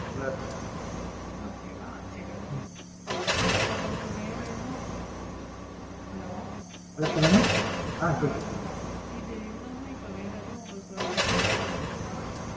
Okay வா சரி உங்களுக்கு வேற ஏதும், Hello இது இல்லாம இப்ப வேற எதும் Food ideas இருக்கா?